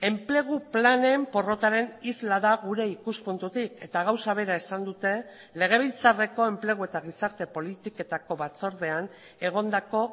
enplegu planen porrotaren isla da gure ikuspuntutik eta gauza bera esan dute legebiltzarreko enplegu eta gizarte politiketako batzordean egondako